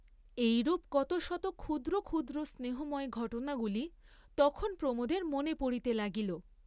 এইরূপ কত শত ক্ষুদ্র ক্ষুদ্র স্নেহময় ঘটনাগুলি তখন প্রমোদের মনে পড়িতে লাগিল।